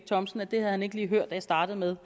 olesen at han ikke lige havde hørt at jeg startede med